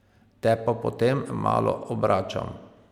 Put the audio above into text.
Te pa potem malo obračam.